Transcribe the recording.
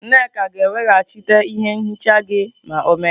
Nneka ga-eweghachite ihe nhicha gị ma ọ mechaa.